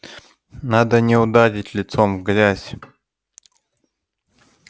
надо не ударить лицом в грязь